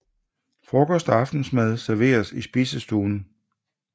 Frokost og aftensmad serveres i spisestuen